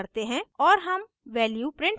और हम value print करते हैं